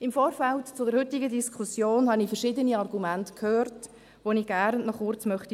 Im Vorfeld zur heutigen Diskussion habe ich verschiedene Argumente gehört, auf die ich gerne noch kurz eingehen möchte: